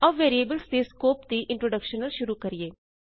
ਆਉ ਵੈਰੀਏਬਲਸ ਦੇ ਸਕੋਪ ਦੀ ਇੰਟਰੋਡੇਕਸ਼ਨ ਨਾਲ ਸ਼ੁਰੂ ਕਰੀਏ